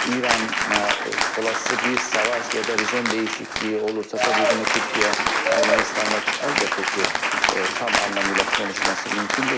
İrana olası bir savaş ya da rejim dəyişikliyi olursa, təbii bunu Türkiyə Ermənistanla əlbəttə ki, tam anlamıyla konuşması mümkün deyil.